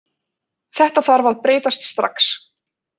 Þetta þarf að breytast strax